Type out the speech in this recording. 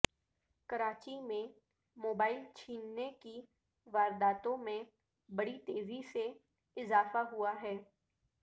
کراچی میں موبائیل چھیننے کی وارداتوں میں بڑی تیزی سے اضافہ ہوا ہے